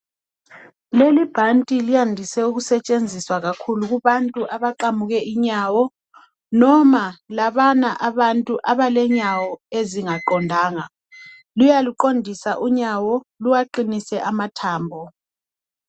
Leli ibhanti liyandise ukusetshenziswa kakhulu kubantu abaqamuke inyawo noma labana abantu abalenyawo ezingaqondanga luyaluqondisa unyawo luwaqinise amathambo.